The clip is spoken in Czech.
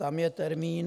Tam je termín...